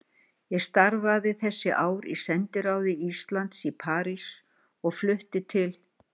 Ég starfaði þessi ár í sendiráði Íslands í París og flutti til